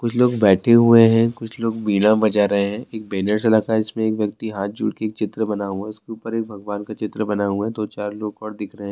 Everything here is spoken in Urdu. کچھ لوگ بیٹھے ہوئے ہیں کچھ لوگ بیڑا بجا رہے ہیں ایک بینر سا لگا ہے جس میں ایک ویکتی ہاتھ جوڑ کر ایک چتر بنا ہوا ہے اس کے اوپر بھگوان کا چترا اور بنا ہوا ہے دو چار لوگ اور دکھ رہے ہیں-